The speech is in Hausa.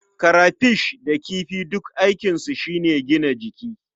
Karafish da kifi duk aikinsu shi ne gina jiki.